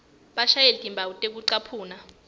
bashiye timphawu tekucaphuna